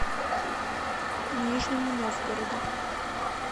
нижнему новгороду